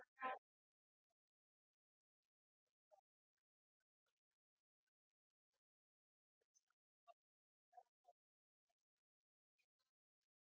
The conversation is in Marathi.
ते deliver करताना कधीच आमच्याकडून काही problem झाला नाही हा पहिला फोन call आहे तुमचा, तर sir मी तुम्हाला एकदम humble request करते कि तुम्ही एकदा परत confirm